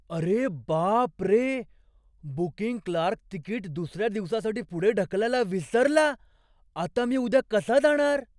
अरे बाप रे! बुकींग क्लार्क तिकीट दुसऱ्या दिवसासाठी पुढे ढकलायला विसरला. आता मी उद्या कसा जाणार?